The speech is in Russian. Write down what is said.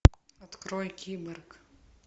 открой киборг